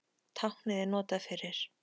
Táknið er notað fyrir